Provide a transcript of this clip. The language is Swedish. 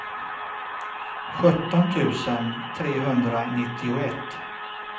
sjutton tusen trehundranittioett